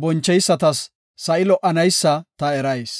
boncheysatas sa7i lo77anaysa ta erayis.